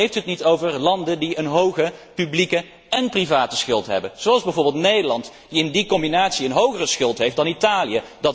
Waarom hebt u het niet over landen die een hoge publieke én private schuld hebben, zoals bijvoorbeeld Nederland, dat in die combinatie een hogere schuld heeft dan Italië?